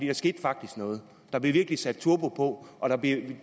der skete faktisk noget der blev virkelig sat turbo på og der blev